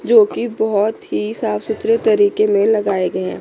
जो की बहुत ही साफ सुथरे तरीके में लगाए गए है।